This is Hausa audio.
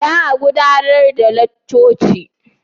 Yau za a gudanar da laccoci?